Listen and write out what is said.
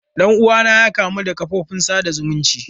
Dan uwana ya kamu da kafofin sada zumunci.